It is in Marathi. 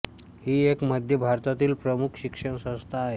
ही एक मध्य भारतातील प्रमुख शिक्षण संस्था आहे